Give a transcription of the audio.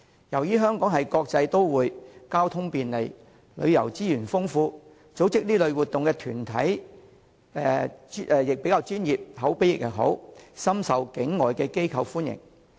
由於香港是國際都會，交通便利，旅遊資源豐富，而組織這類活動的團體亦既專業，又口碑佳，故此，活動深受境外團體歡迎。